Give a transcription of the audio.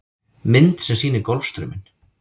Mynd sem sýnir Golfstrauminn.